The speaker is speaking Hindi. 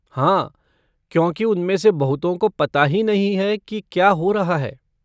हाँ, क्योंकि उनमें से बहुतों को पता ही नहीं है कि क्या हो रहा है।